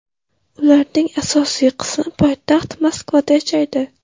Ularning asosiy qismi poytaxt Moskvada yashaydi.